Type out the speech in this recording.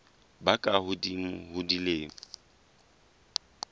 ba ka hodimo ho dilemo